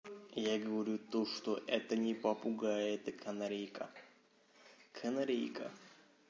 я говорю то что это не попугай это канарейка канарейка